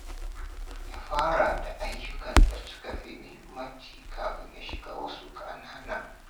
Ya fara da ayyukan da suka fi muhimmanci kafin ya shiga wasu ƙanana.